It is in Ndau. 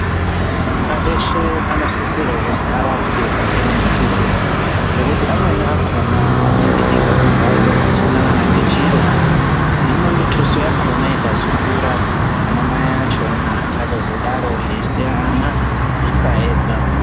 Vana vese vanosisa kuziya varapwe pasina mutuso nekuti amweni achona anobva kumbatso kusina kana nechiro Hino mituso yacho ikazokura ana mai vacho anozosiya vana veifa Vega.